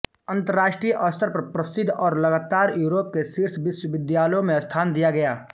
अंतरराष्ट्रीय स्तर पर प्रसिद्ध और लगातार यूरोप के शीर्ष विश्वविद्यालयों में स्थान दिया गया